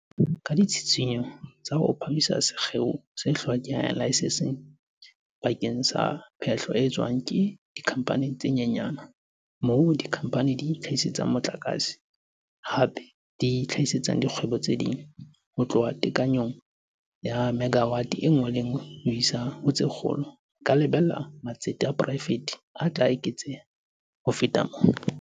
Ka ditshitshinyo tsa ho phahamisa sekgeo se hlokang laesense bakeng sa phehlo e etswang ke dikhampani tse nyenyane - moo dikhampani di itlha-hisetsang motlakase, hape di hlahisetsang dikgwebo tse ding - ho tloha tekanyong ya megawate e le nngwe ho isa ho tse lekgolo, re ka lebella hore matsete a poraefete a tla eketseha ho feta mona.